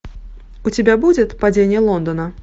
у тебя будет падение лондона